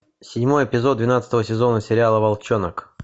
седьмой эпизод двенадцатого сезона сериала волчонок